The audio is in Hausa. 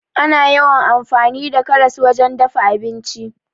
Ana yawan amfani da karas wajen dafa abinci.